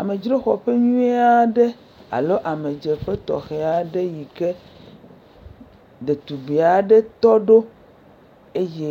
Amedzroxɔƒe nyuie aɖe alo amedzeƒe tɔxɛ aɖe yi ke ɖetugbi aɖe tɔ ɖo eye